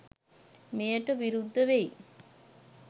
මෙයට විරුද්ධවෙයි.